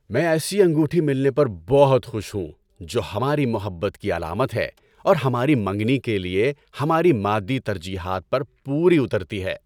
میں ایسی انگوٹھی ملنے پر بہت خوش ہوں جو ہماری محبت کی علامت ہے اور ہماری منگنی کے لیے ہماری مادی ترجیحات پر پوری اترتی ہے۔